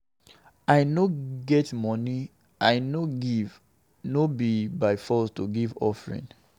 I no get money, I no dey give, no be by force to give offering.